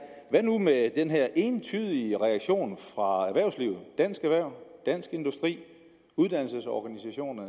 hvad nu med den her entydige reaktion fra erhvervslivet dansk erhverv dansk industri